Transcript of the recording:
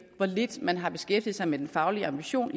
hvor lidt man har beskæftiget sig med den faglige ambition